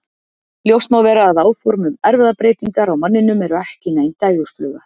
Ljóst má vera að áform um erfðabreytingar á manninum eru ekki nein dægurfluga.